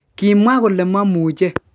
Kimwa kole momuche.